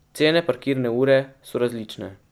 Cene parkirne ure so različne.